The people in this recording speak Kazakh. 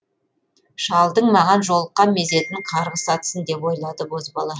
шалдың маған жолыққан мезетін қарғыс атсын деп ойлады бозбала